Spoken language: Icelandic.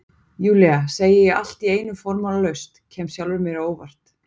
Júlía, segi ég allt í einu formálalaust, kem sjálfri mér á óvart.